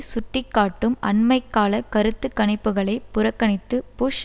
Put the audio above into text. சுட்டிக்காட்டும் அண்மை கால கருத்து கணிப்புக்களை புறக்கணித்து புஷ்